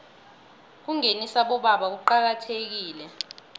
ukungenisa abobaba kuqakathekile